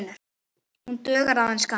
Hún dugar aðeins skammt.